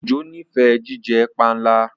Ojo n'ifẹ jíjẹ panla.